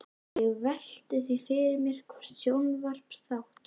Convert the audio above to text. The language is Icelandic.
Ég velti því fyrir mér hvort sjónvarpsþátt